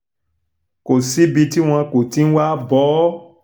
kò síbi tí wọn kò ti ń wáá bọ́ ọ